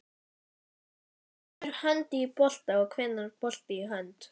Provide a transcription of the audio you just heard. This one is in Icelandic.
Hvenær fer hönd í bolta og hvenær bolti í hönd?